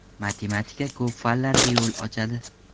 Matematika ko‘p fanlarga yo‘l ochadi.